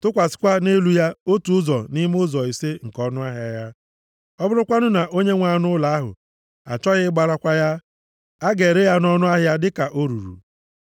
tụkwasịkwa nʼelu ya otu ụzọ nʼime ụzọ ise nke ọnụahịa ya. Ọ bụrụkwanụ na onye nwe anụ ụlọ ahụ achọghị ịgbarakwa ya, a ga-ere ya nʼọnụ ahịa dịka o ruru.